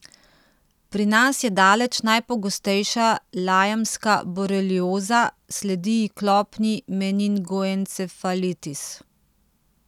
Pri nas je daleč najpogostejša lajmska borelioza, sledi ji klopni meningoencefalitis.